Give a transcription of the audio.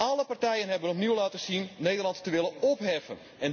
Alle partijen hebben opnieuw laten zien Nederland te willen opheffen.